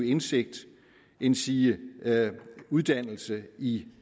indsigt endsige uddannelse i